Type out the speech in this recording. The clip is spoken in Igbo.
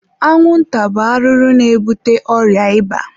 anwụnta bụ arụrụ na-ebute ọrịa ịba.